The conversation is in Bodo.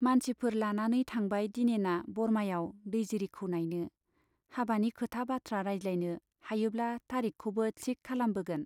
मानसिफोर लानानै थांबाय दिनेना बरमायाव दैजिरिखौ नाइनो, हाबानि खोथा बाथ्रा रायज्लायनो, हायोब्ला तारिख खौबो थिक खालामबोगोन।